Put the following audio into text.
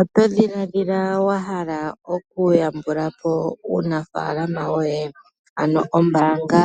Oto dhiladhila wa hala okuyambula po uunafaalama woye? Ano ombaanga